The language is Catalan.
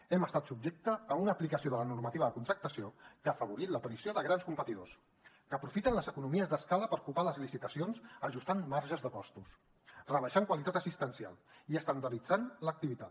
hem estat subjectes a una aplicació de la normativa de contractació que ha afavorit l’aparició de grans competidors que aprofiten les economies d’escala per copar les licitacions ajustant marges de costos rebaixant qualitat assistencial i estandarditzant l’activitat